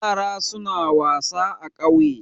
Yara suna wasa a ƙauye.